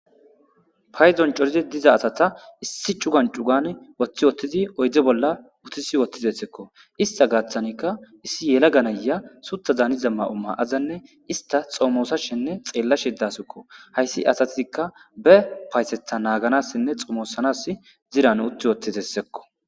Paydon cori dizza asata issi cugan cugan uthi wothri oydebola utisi wothireikko ista gathan issi yalaga nayiya sutha danizza mayo mayadanne ista xomosashenne xelashe dawusikko isti asatika bepayatetha naganas xomosanas zirran uthwothreskko.